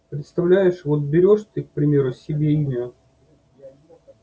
представляешь вот берёшь ты к примеру себе имя